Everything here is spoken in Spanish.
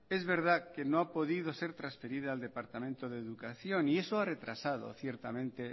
es verdad que no ha podido ser transferida al departamento de educación y eso ha retrasado ciertamente